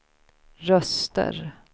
röster